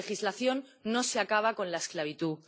Sin legislación no se acaba con la esclavitud.